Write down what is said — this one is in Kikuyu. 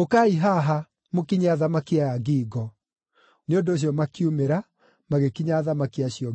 “Ũkai haha, mũkinye athamaki aya ngingo.” Nĩ ũndũ ũcio makiumĩra, magĩkinya athamaki acio ngingo.